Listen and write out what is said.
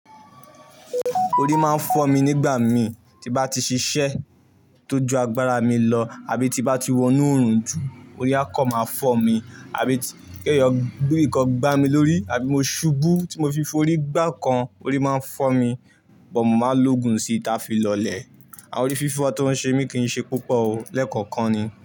Orí máa ń fọ́ mi nígbà mii tí bá ti ṣiṣẹ́ tó ju agbára mi lọ àbí tí bá ti wọnú oòrùn jù, orí á kọ̀ máa fọ́ mi, àbí gẹ́gẹ́ bí ǹkan gbá mi lórí, àbí mo ṣubú tí mo fi fọ́ orí gbá ǹkan, orí máa ń fọ́ mi, but mo máa lògùn sí i táa fi lọlẹ̀. Àwọn orí fífọ́ tí wọ́n ṣe mi kì í ṣe púpọ̀ o, lẹ́ẹ̀kọ̀kan ni.